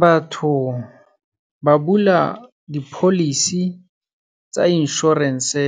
Batho ba bula di-policy tsa insurance-e